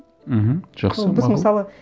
мхм жақсы мақұл сол біз мысалы